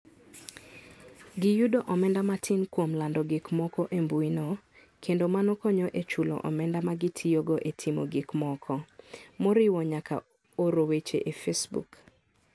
Giyudo omenda matin kuom lando gik moko embuino, kendo mano konyo e chulo omenda ma gitiyogo e timo gik moko, moriwo nyaka oro weche e Facebook.